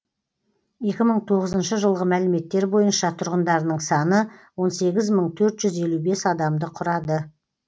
екі мың тоғызыншы жылғы мәліметтер бойынша тұрғындарының саны он сегіз мың төрт жүз елу бес адамды құрады